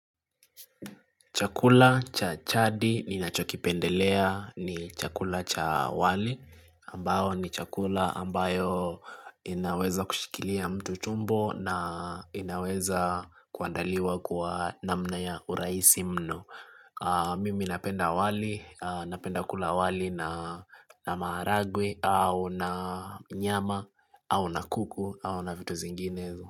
Chakula cha jadi ninachokipendelea ni chakula cha wali ambao ni chakula ambayo inaweza kushikilia mtu tumbo na inaweza kuandaliwa kwa namna ya urahisi mno. Mimi napenda wali napenda kula wali na maharagwe au na nyama au na kuku au na vitu zinginezo.